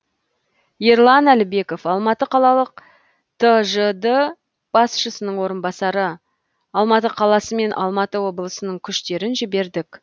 ерлан әлібеков алматы қалалық тжд басшысының орынбасары алматы қаласы мен алматы облысының күштерін жібердік